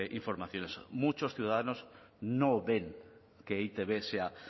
informaciones muchos ciudadanos no ven que e i te be sea